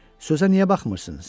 Sözə niyə baxmırsınız?